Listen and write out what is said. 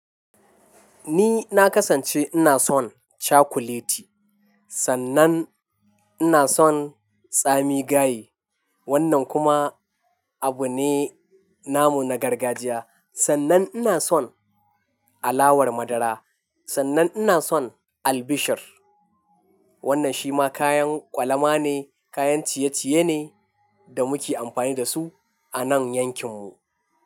Ni na kasance ina son chakuleti, sannan ina son tsami gaye. Wannan kuma abu ne, namu na gargajiya. Sannan ina son alawar madara, sannan ina son albishir. Wannan shi ma kayan kwalama ne, kayan ciye-ciye ne da muke amfani da su a nan yankin mu.